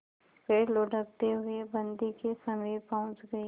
फिर लुढ़कते हुए बन्दी के समीप पहुंच गई